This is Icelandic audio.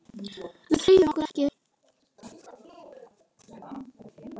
Við hreyfum okkur ekki.